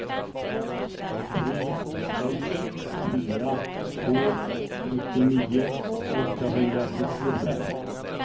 tre sex fyra två sjuttionio åttahundrasjuttiofem